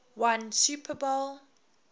won super bowl